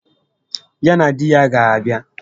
Ya na di ya ga abịa